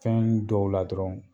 Fɛn dɔw la dɔrɔn